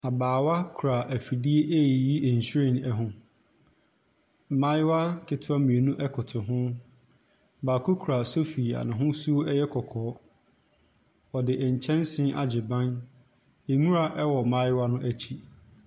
Abaawa kura efidie eeyi nhwiren ɛho. Mbaayewa ketoa mienu ɛkoto ho. Baako kura sofi nehosuo ɛyɛ kɔkɔɔ, wɔde nkyɛnse agye ban. Nwura ɛwɔ nbaayewa no ekyi.